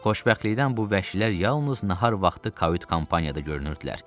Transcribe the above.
Xoşbəxtlikdən bu vəhşilər yalnız nahar vaxtı kavyd-kampaniyada görünürdülər.